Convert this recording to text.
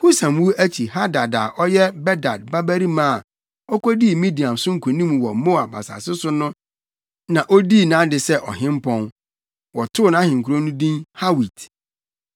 Husam wu akyi Hadad a ɔyɛ Bedad babarima a okodii Midian so nkonim wɔ Moab asase so no na odii nʼade sɛ ɔhempɔn. Wɔtoo nʼahenkurow no din Hawit.